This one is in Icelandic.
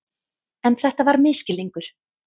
En þetta var misskilningur.